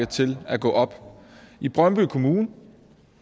til at gå op i brøndby kommune et